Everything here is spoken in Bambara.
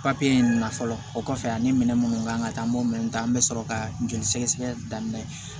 papiye in na fɔlɔ o kɔfɛ ani minɛ munnu kan ŋa taa an b'o minɛn ta an be sɔrɔ ka joli sɛgɛsɛgɛ daminɛ